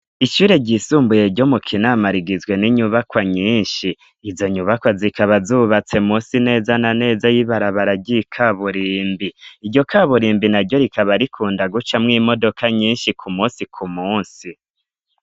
Ishure ryisumbuye ryo mu Kinama rigizwe n'inyubakwa nyinshi. Izo nyubakwa zikaba zubatse munsi neza na neza y'ibarabara ry'ikaburimbi. Iryo kaburimbi na ryo rikaba rikunda gucamwo imodoka nyinshi ku munsi ku munsi.